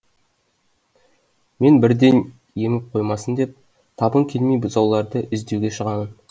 мен бірден еміп қоймасын деп табын келмей бұзауларды іздеуге шығамын